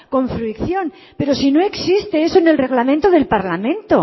con fricción pero si no existe eso en el reglamento del parlamento